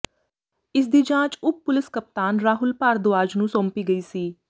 ਇਸ ਦੀ ਜਾਂਚ ਉਪ ਪੁਲਸ ਕਪਤਾਨ ਰਾਹੁਲ ਭਾਰਦਵਾਜ ਨੂੰ ਸੌਂਪੀ ਗਈ ਸੀ